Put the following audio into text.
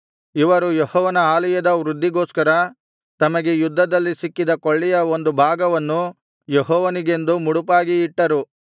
ಇವರು ಯೆಹೋವನ ಆಲಯದ ವೃದ್ಧಿಗೋಸ್ಕರ ತಮಗೆ ಯುದ್ಧದಲ್ಲಿ ಸಿಕ್ಕಿದ ಕೊಳ್ಳೆಯ ಒಂದು ಭಾಗವನ್ನು ಯೆಹೋವನಿಗೆಂದು ಮುಡುಪಾಗಿ ಇಟ್ಟರು